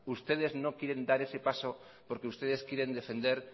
ustedes no quieren dar ese paso porque ustedes quieren defender